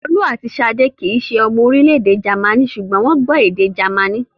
Folú àti Ṣadé kì í ṣe ọmọ orílẹ̀-èdè Jámánì, ṣùgbọ́n wọ́n gbọ́ èdè Jámánì.